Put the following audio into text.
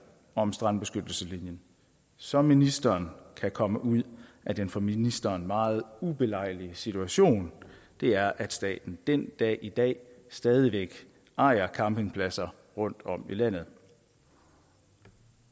om strandbeskyttelseslinjen så ministeren kan komme ud af den for ministeren meget ubelejlige situation det er at staten den dag i dag stadig væk ejer campingpladser rundt om i landet